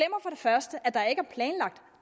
første at der ikke er planlagt